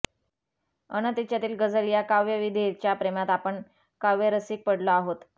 अन् तिच्यातील ग़़जल या काव्यविधेच्या प्रेमात आपण काव्यरसिक पडलो आहोत